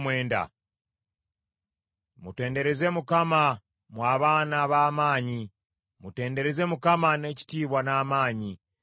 Mutendereze Mukama , mmwe abaana b’ab’amaanyi. Mutendereze Mukama n’ekitiibwa n’amaanyi.